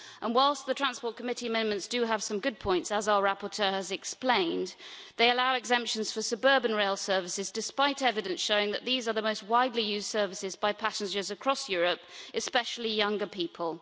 Whilst the TRAN Committee's amendments do have some good points, as our rapporteur has explained, they allow exemptions for suburban rail services, despite evidence showing that these are the most widely used services by passengers across Europe, especially younger people.